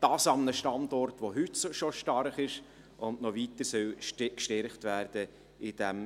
Dies an einem Standort, der heute schon stark ist und in diesem Themengebiet noch weiter gestärkt werden soll.